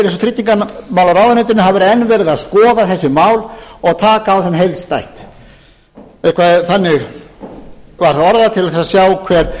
og tryggingamálaráðuneytinu það væri enn verið að skoða þessi mál og taka á þeim heildstætt eða þannig var það orðað til að sjá hver